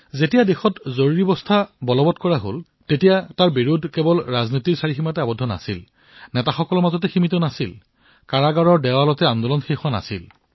যেতিয়া দেশত জৰুৰীকালীন অৱস্থাৰ সৃষ্টি হৈছিল তেতিয়া বিৰোধিতা কেৱল ৰাজনৈতিক সীমাতেই সীমাৱদ্ধ নাছিল ৰাজনেতাসকলৰ মাজতেই সীমাৱদ্ধ নাছিল কাৰাগাৰ আন্দোলনতেই সীমাৱদ্ধ নাছিল